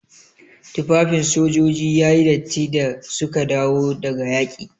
Tufafin sojoji yayi datti da suka dawo daga yaƙi.